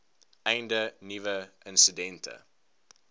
einde nuwe insidente